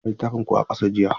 Na ga littafin ku a ƙasa jiya.